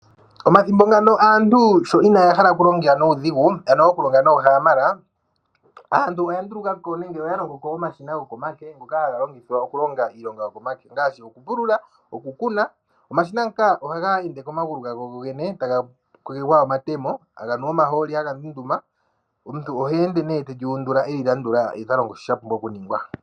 Omathimbo ngano aantu sho inaaya hala okulonga nuudhigu ano okulonga noohaamala. Aantu oyandulukapo nenge oyalongoko omashina gokomake ngoka haga longithwa okulonga iilonga yokomake ngaashi okupulula nokukuna. Omashina ngaka ohaga ende komagulu gago gogene etaga kwegwekwa omatemo haga nu omahooli haga ndunduma. Omuntu oha ende ne teli undula ye talongo shi shapumbwa okuningwa.